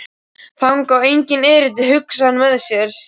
Þangað á enginn erindi, hugsaði hann með sér.